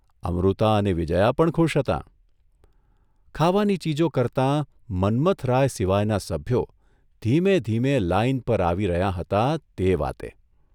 અમૃતા અને વિજયા પણ ખુશ હતાં, ખાવાની ચીજો કરતાં મન્મથરાય સિવાયનાં સભ્યો ધીમે ધીમે લાઇન પર આવી રહ્યાં હતાં તે વાતે !